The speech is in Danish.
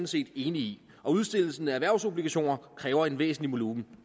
set enig i at udstedelsen af erhvervsobligationer kræver en væsentlig volumen